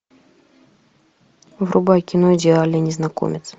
врубай кино идеальный незнакомец